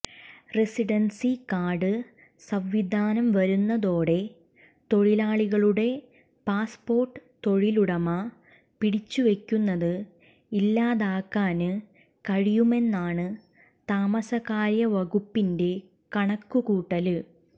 residency card സംവിധാനം വരുന്നതോടെ തൊഴിലാളികളുടെ പാസ്പോര്ട്ട് തൊഴിലുടമ പിടിച്ചുവെക്കുന്നത് ഇല്ലാതാക്കാന് കഴിയുമെന്നാണ് താമസകാര്യവകുപ്പിന്െറ കണക്കുകൂട്ടല്